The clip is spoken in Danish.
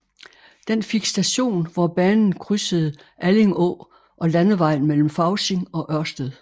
Den fik station hvor banen krydsede Alling Å og landevejen mellem Fausing og Ørsted